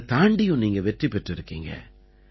அதைத் தாண்டியும் நீங்க வெற்றி பெற்றிருக்கீங்க